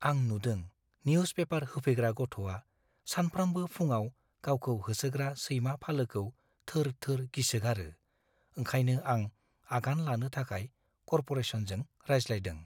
आं नुदों newspaper होफैग्रा गथ'आ सानफ्रामबो फुंआव गावखौ होसोग्रा सैमा फालोखौ थोर-थोर गिसोगारो। ओंखायनो आं आगान लानो थाखाय कर्प'रेसनजों रायज्लायदों।